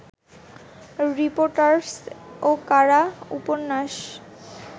reportage ও কারা-উপন্যাস